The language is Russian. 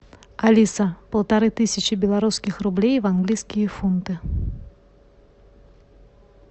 алиса полторы тысячи белорусских рублей в английские фунты